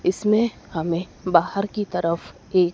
इसमें हमें बाहर की तरफ एक--